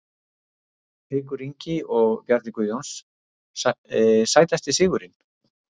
Haukur Ingi og Bjarni Guðjóns Sætasti sigurinn?